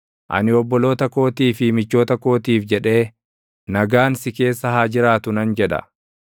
Ani obboloota kootii fi michoota kootiif jedhee, “Nagaan si keessa haa jiraatu” nan jedha.